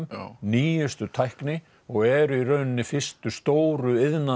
nýjustu tækni og eru í rauninni fyrstu stóru